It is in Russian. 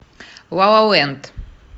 ла ла ленд